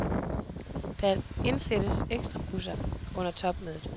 Der indsættes ekstrabusser under topmødet.